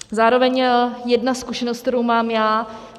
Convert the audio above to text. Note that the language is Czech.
Zároveň jedna zkušenost, kterou mám já.